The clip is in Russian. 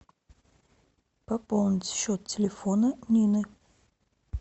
пополнить счет телефона нины